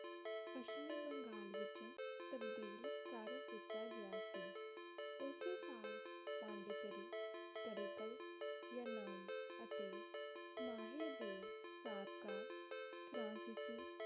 ਪਸ਼ਚਮੀ ਬੰਗਾਲ ਵਿਚ ਤਬਦੀਲ ਕਰ ਦਿੱਤਾ ਗਿਆ ਸੀ ਓਸੇ ਸਾਲ ਪੋਂਡੀਚਰੀ ਕਰੀਕਲ ਯਨਾਉ ਅਤੇ ਮਾਹੇ ਦੇ ਸਾਬਕਾ ਸੀ ਸੀ